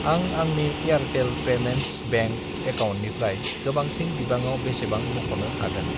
आं आंनि Airtel payments bank एकाउन्टनिफ्राय गोबांसिन बिबाङाव बेसेबां बख'नो हागोन?